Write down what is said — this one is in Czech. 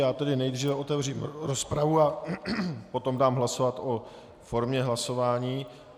Já tedy nejdříve otevřu rozpravu a potom dám hlasovat o formě hlasování.